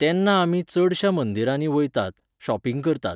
तेन्ना आमी चडश्या मंदिरांनी वयतात, shopping करतात.